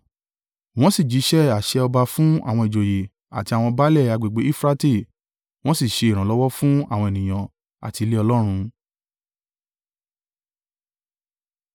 Wọ́n sì jíṣẹ́ àṣẹ ọba fún àwọn ìjòyè àti àwọn baálẹ̀ agbègbè Eufurate, wọ́n sì ṣe ìrànlọ́wọ́ fún àwọn ènìyàn àti ilé Ọlọ́run.